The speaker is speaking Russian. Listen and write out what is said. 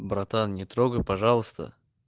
братан не трогай пожалуйста